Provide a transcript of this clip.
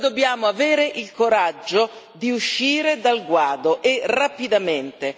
Noi dobbiamo avere il coraggio di uscire dal guado e rapidamente.